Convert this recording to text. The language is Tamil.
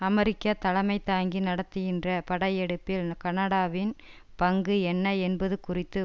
அமெரிக்கா தலைமை தாங்கி நடத்துகின்ற படையெடுப்பில் கனடாவின் பங்கு என்ன என்பது குறித்து